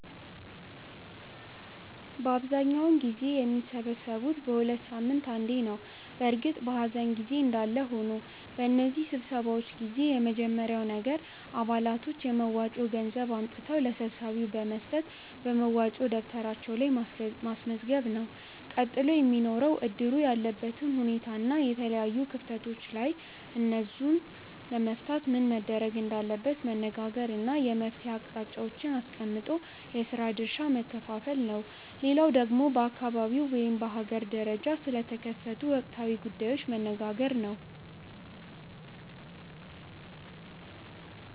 በአብዛኛውን ጊዜ የሚሰበሰቡት በ ሁለት ሳምንት አንዴ ነው በእርግጥ በኀዘን ጊዜ እንዳለ ሆኖ። በነዚህ ስብሰባዎች ጊዜ የመጀመርያው ነገር አባላቶች የመዋጮ ገንዘብ አምጥተው ለሰብሳቢው በመስጠት በመዋጮ ደብተራቸው ላይ ማስመዝገብ ነው። ቀጥሎ የሚኖረው እድሩ ያለበትን ሁኔታና የተለያዩ ክፍተቶች ካሉ እነዛን ለመፍታት ምን መደረግ እንዳለበት መነጋገር እና የመፍትሔ አቅጣጫዎችን አስቀምጦ የስራ ድርሻ መከፋፈል ነው። ሌላው ደግሞ በአካባቢው ወይም በሀገር ደረጃ ስለተከሰቱ ወቅታዊ ጉዳዮች መነጋገር ነው።